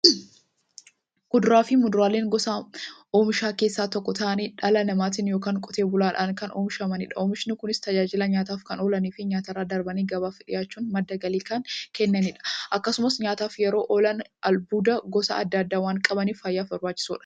Kuduraafi muduraan gosa oomishaa keessaa tokko ta'anii, dhala namaatin yookiin Qotee bulaadhan kan oomishamaniidha. Oomishni Kunis, tajaajila nyaataf kan oolaniifi nyaatarra darbanii gabaaf dhiyaachuun madda galii kan kennaniidha. Akkasumas nyaataf yeroo oolan, albuuda gosa adda addaa waan qabaniif, fayyaaf barbaachisoodha.